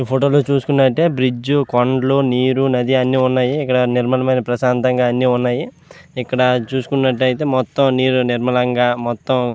ఈ ఫోటో లో చూసుకున్నట్టు అయితే బ్రిడ్జి కొండల్లు నీరు నది అన్నీ వున్నాయ్ ఇక్కడ నిర్మలమైన ప్రసాంతగా అన్నీ వున్నాయ్. ఇక్కడ చుసుకున్నట్టు అయితే నీరు నిర్మలంగా మొత్తం --